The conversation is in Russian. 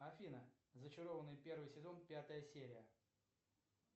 афина зачарованные первый сезон пятая серия